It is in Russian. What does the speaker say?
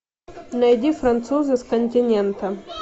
найди французы с континента